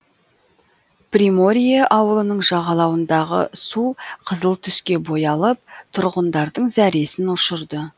приморье ауылының жағалауындағы су қызыл түске боялып тұрғындардың зәресін ұшырды